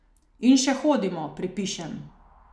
In še hodimo, pripišem.